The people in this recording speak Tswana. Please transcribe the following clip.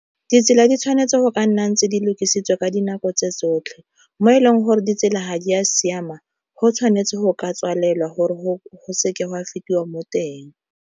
Ditsela di tshwanetse go ka nnang tse di lokisetsa ka dinako tse tsotlhe, mo e leng gore ditsela ga di a siama go tshwanetse go ka tswalelwa gore go seke gwa fetiwa mo teng.